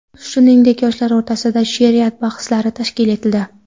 Shuningdek, yoshlar o‘rtasida she’riyat bahslari tashkil etildi.